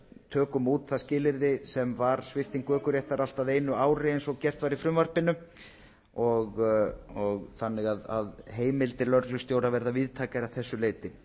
tökum út það skilyrði sem var svipting ökuréttar allt að einu ári eins og gert var í frumvarpinu þannig að heimildir lögreglustjóra verða víðtækari að þessu leyti